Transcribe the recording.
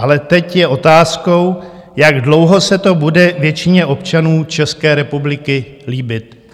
Ale teď je otázkou, jak dlouho se to bude většině občanů České republiky líbit.